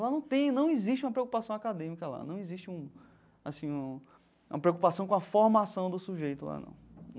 Lá não tem, não existe uma preocupação acadêmica lá, não existe um, assim, uma uma preocupação com a formação do sujeito lá, não.